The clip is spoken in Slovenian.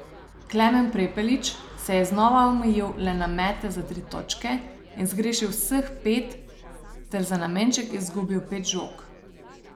Klemen Prepelič se je znova omejil le na mete za tri točke in zgrešil vseh pet ter za nameček izgubil pet žog.